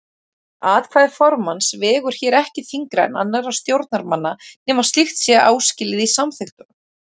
Atkvæði formanns vegur hér ekki þyngra en annarra stjórnarmanna nema slíkt sé áskilið í samþykktunum.